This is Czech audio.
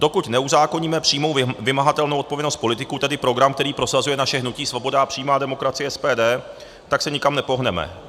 Dokud neuzákoníme přímou vymahatelnou odpovědnost politiků, tedy program, který prosazuje naše hnutí Svoboda a přímá demokracie - SPD, tak se nikam nepohneme.